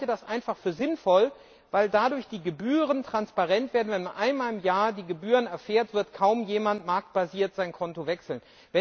Ich halte das einfach für sinnvoll, weil dadurch die Gebühren transparent werden. Wenn man einmal im Jahr die Gebühren erfährt, wird kaum jemand marktbasiert sein Konto wechseln.